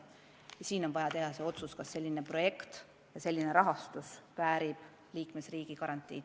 Millalgi on vaja teha otsus, kas selline projekt ja nii suur rahastus väärib tulevikus liikmesriigi garantiid.